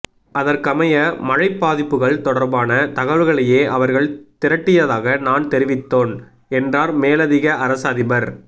அதற்கமைய மழைப் பாதிப்புகள் தொடர்பான தகவல்களையே அவர்கள் திரட்டியதாக நான் தெரிவித்தோன் என்றார் மேலதிக அரச அதிபர்